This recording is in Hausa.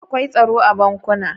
Akwai tsaro a bankunan.